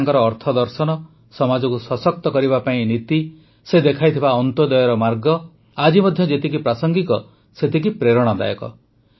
ତାଙ୍କର ଅର୍ଥଦର୍ଶନ ସମାଜକୁ ସଶକ୍ତ କରିବା ପାଇଁ ତାଙ୍କର ନୀତି ସେ ଦେଖାଇଥିବା ଅନ୍ତ୍ୟୋଦୟର ମାର୍ଗ ଆଜି ମଧ୍ୟ ଯେତିକି ପ୍ରାସଙ୍ଗିକ ସେତିକି ପ୍ରେରଣାଦାୟକ